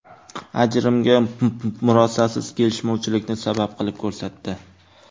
Ajrimga murosasiz kelishmovchilikni sabab qilib ko‘rsatdi.